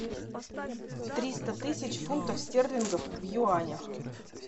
триста тысяч фунтов стерлингов в юанях